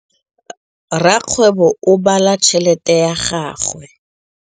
Rakgwêbô o bala tšheletê ya gagwe.